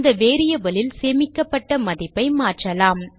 அந்த variable லில் சேமிக்கப்பட்ட மதிப்பை மாற்றலாம்